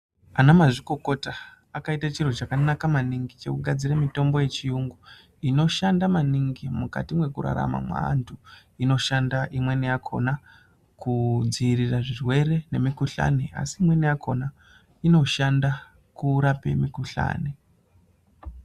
Anamazvikokota akaite chiro chakanaka maningi chekugadzire mitombo yechiyungu. Inoshanda maningi mukati mekurarama kweantu inoshanda imweni yakona kudzivirira zvirwere nemikuhlani. Asi imweni yakona inoshanda kurapa mikuhlani.